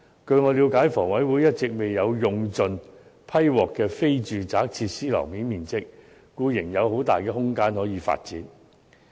據我了解，房委會一直未有用盡獲批的非住宅設施樓面面積，故仍有很大的空間可以發展。